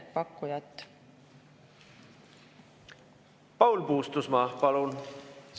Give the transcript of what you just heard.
Paul Puustusmaa, palun!